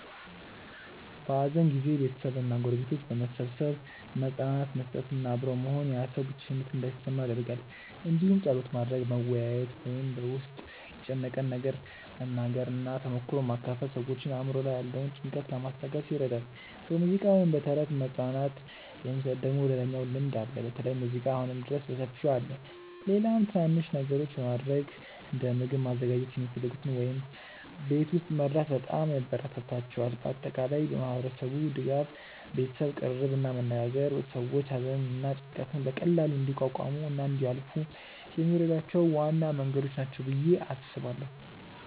በሐዘን ጊዜ ቤተሰብ እና ጎረቤቶች በመሰብሰብ መጽናናት መስጠት እና አብሮ መሆን ያ ሰው ብቸኝነት እንዳይሰማው ይደረጋል እንዲሁም ጸሎት ማድረግ፣ መወያየት ወይም በ ውስጥን የጨነቀውን መናገር እና ተሞክሮ መካፈል ሰዎችን አእምሮ ላይ ያለውን ጭንቀት ለማስታገስ ይረዳል። በሙዚቃ ወይም በተረት መጽናናት የሚሰጥ ደግሞ ሌላኛው ልምድ አለ በተለይ ሙዚቃ አሁንም ድረስ በሰፊው አለ። ሌላም ትናናንሽ ነገሮች በማረግ እንደ ምግብ ማዘጋጀት የሚፈልጉትን ወይም ቤት መርዳት በጣም ያበራታታቸዋል። በአጠቃላይ ማህበረሰቡ ድጋፍ፣ ቤተሰብ ቅርርብ እና መነጋገር ሰዎች ሐዘንን እና ጭንቀትን በቀላሉ እንዲቋቋሙ እና እንዲያልፏ የሚረዷቸው ዋና መንገዶች ናቸው ብዬ አስባለው።